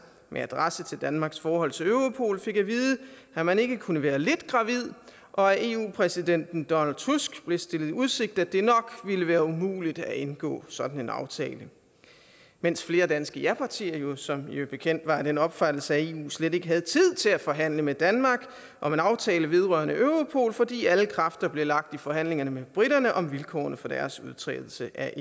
med adresse til danmarks forhold til europol fik at vide at man ikke kunne være lidt gravid og af eu præsidenten donald tusk blev stillet i udsigt at det nok ville være umuligt at indgå sådan en aftale mens flere danske japartier jo som bekendt var af den opfattelse at eu slet ikke havde tid til at forhandle med danmark om en aftale vedrørende europol fordi alle kræfter blev lagt i forhandlingerne med briterne om vilkårene for deres udtrædelse af